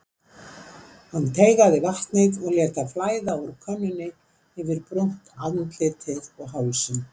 Hann teygaði vatnið og lét það flæða út úr könnunni yfir brúnt andlitið og hálsinn.